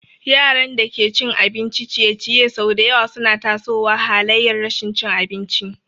Yaran da ke cin abincin ciye-ciye sau da yawa suna tasowa halayar rashin cin abinci.